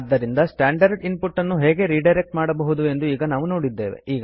ಆದ್ದರಿಂದ standard input ಅನ್ನು ಹೇಗೆ ರಿಡೈರೆಕ್ಟ್ ಮಾಡಬಹುದು ಎಂದು ಈಗ ನಾವು ನೋಡಿದ್ದೇವೆ